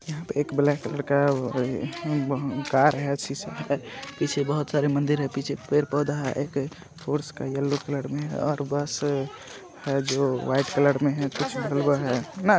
यहा पे एक ब्लेक कलर का कार हे सीसे के पीछे बहुत सारे मंदिर हे मंदिर के पैर पौधा ऐ के और यलो कलर में और अ बस अ हैजो वाईट कलर में हे कुछ ब्लू में है।